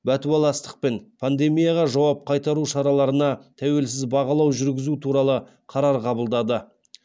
бәтуаластықпен пандемияға жауап қайтару шараларына тәуелсіз бағалау жүргізу туралы қарар қабылдады